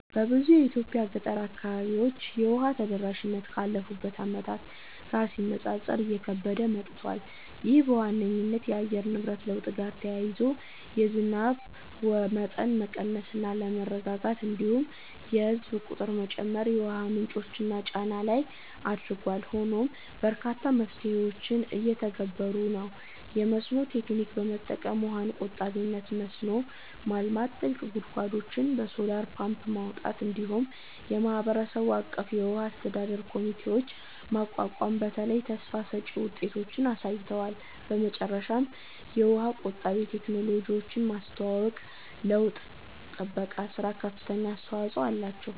በብዙ የኢትዮጵያ ገጠር አካባቢዎች የውሃ ተደራሽነት ካለፉት ዓመታት ጋር ሲነጻጸር እየከበደ መጥቷል። ይህ በዋነኝነት ከአየር ንብረት ለውጥ ጋር ተያይዞ የዝናብ መጠን መቀነስ እና አለመረጋጋት፣ እንዲሁም የህዝብ ቁጥር መጨመር የውሃ ምንጮች ላይ ጫና ላይ አድርጓል። ሆኖም በርካታ መፍትሄዎች እየተተገበሩ ነው፤ የመስኖ ቴክኒክ በመጠቀም ውሃን በቆጣቢነት መስኖ ማልማት፣ ጥልቅ ጉድጓዶችን በሶላር ፓምፕ ማውጣት፣ እንዲሁም የማህበረሰብ አቀፍ የውሃ አስተዳደር ኮሚቴዎችን ማቋቋም በተለይ ተስፋ ሰጭ ውጤቶችን አሳይተዋል። በመጨረሻም የውሃ ቆጣቢ ቴክኖሎጂዎችን ማስተዋወቅ ለውሃ ጥበቃ ሥራ ከፍተኛ አስተዋጽኦ አላቸው።